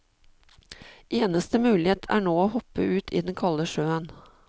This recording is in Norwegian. Eneste mulighet er nå å hoppe ut i den kalde sjøen.